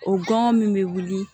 O gɔngɔn min bɛ wuli